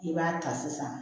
I b'a ta sisan